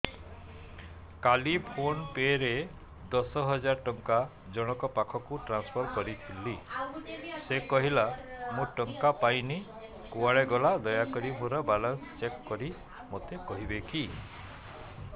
କାଲି PhonePe ରେ ଦଶ ହଜାର ଟଙ୍କା ଜଣକ ପାଖକୁ ଟ୍ରାନ୍ସଫର୍ କରିଥିଲି ସେ କହିଲା ମୁଁ ଟଙ୍କା ପାଇନି କୁଆଡେ ଗଲା ଦୟାକରି ମୋର ବାଲାନ୍ସ ଚେକ୍ କରି ମୋତେ କହିବେ କି